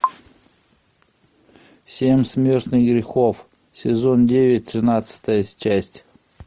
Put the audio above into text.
семь смертных грехов сезон девять тринадцатая часть